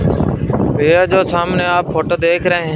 यह जो सामने आप फोटो देख रहे हैं--